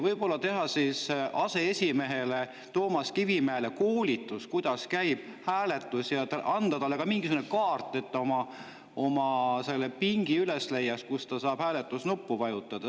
Võib-olla teha aseesimees Toomas Kivimäele koolitus, kuidas käib hääletus, ja anda talle ka mingisugune kaart, et ta oma pingi üles leiaks, kus ta saab hääletusnuppu vajutada.